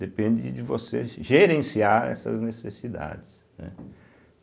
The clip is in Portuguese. Depende de você gerenciar essas necessidades, né.